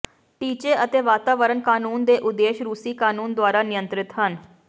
ਟੀਚੇ ਅਤੇ ਵਾਤਾਵਰਣ ਕਾਨੂੰਨ ਦੇ ਉਦੇਸ਼ ਰੂਸੀ ਕਾਨੂੰਨ ਦੁਆਰਾ ਨਿਯੰਤ੍ਰਿਤ ਹਨ